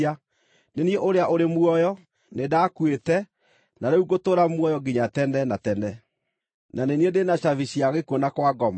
Nĩ niĩ Ũrĩa-ũrĩ-Muoyo; nĩndakuĩte, na rĩu ngũtũũra muoyo nginya tene na tene! Na nĩ niĩ ndĩ na cabi cia gĩkuũ na Kwa Ngoma.